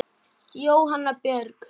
Jóhanna Björg.